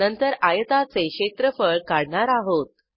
नंतर आयताचे क्षेत्रफळ काढणार आहोत